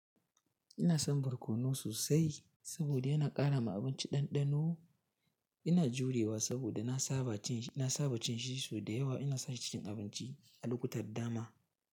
Ina son barkono sosai saboda yana ƙara ma abinci ɗanɗano. Ina jurewa saboda na saba cin shi sau da yawa, ina sashi cikin abinci a lukuta dama.